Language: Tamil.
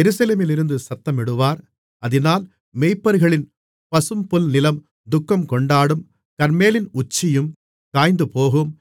எருசலேமிலிருந்து சத்தமிடுவார் அதினால் மேய்ப்பர்களின் பசும்புல்நிலம் துக்கம் கொண்டாடும் கர்மேலின் உச்சியும் காய்ந்துபோகும்